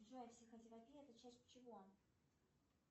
джой психотерапия это часть чего